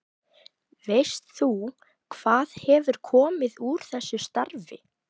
Veist þú hvað hefur komið úr úr þessu starfi?